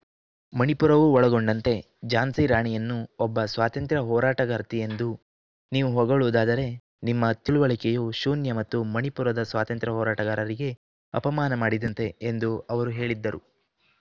ಮಣಿಪುರವೂ ಒಳಗೊಂಡಂತೆ ಝಾನ್ಸಿ ರಾಣಿಯನ್ನು ಒಬ್ಬ ಸ್ವಾತಂತ್ರ್ಯ ಹೋರಾಟಗಾರ್ತಿ ಎಂದು ನೀವು ಹೊಗಳುವುದಾದರೆ ನಿಮ್ಮ ತಿಳಿವಳಿಕೆಯು ಶೂನ್ಯ ಮತ್ತು ಮಣಿಪುರದ ಸ್ವಾತಂತ್ರ್ಯ ಹೋರಾಟಗಾರರಿಗೆ ಅಪಮಾನ ಮಾಡಿದಂತೆ ಎಂದು ಅವರು ಹೇಳಿದ್ದರು